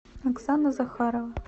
оксана захарова